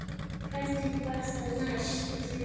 Hvernig var það hægt?